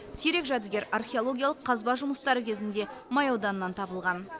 сирек жәдігер археологиялық қазба жұмыстары кезінде май ауданынан табылған